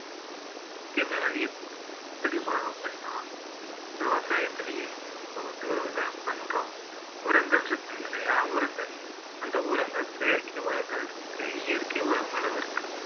தீமைகள் எப்படி வரும் அப்படீன்னா விவசாயத்திலேயே இப்போ வந்து விவசாயம் பண்றோம் உரங்கள் இருக்குங்க இல்லையா உரங்கள் அந்த உரங்கள் செயற்கை உரங்கள் இருக்கு இயற்கை உரங்களும் இருக்கு